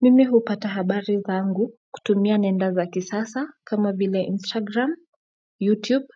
Mimi hupata habari zangu kutumia nenda za kisasa kama vile Instagram, YouTube